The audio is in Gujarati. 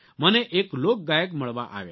મને એક લોક ગાયક મળવા આવ્યા